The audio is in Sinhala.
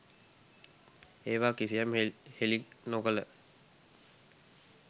ඒවා කිසියම් හෙළි නොකළ